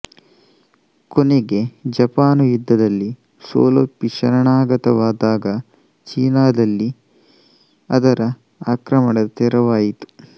ಕೊನೆಗೆ ಜಪಾನು ಯುದ್ಧದಲ್ಲಿ ಸೋಲೊಪ್ಪಿ ಶರಣಾಗತವಾದಾಗ ಚೀನದಲ್ಲಿ ಅದರ ಆಕ್ರಮಣದ ತೆರವಾಯಿತು